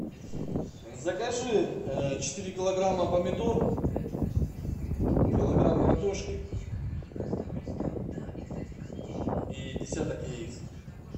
закажи четыре килограмма помидор килограмм картошки и десяток яиц